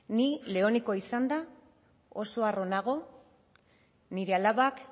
ni leonekoa izanda oso harro nago nire alabak